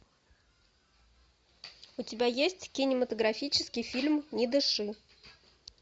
у тебя есть кинематографический фильм не дыши